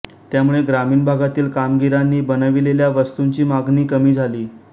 त्यामुळे ग्रामीण भागातील कारागिरांनी बनविलेल्या वस्तूंची मागणी कमी झाली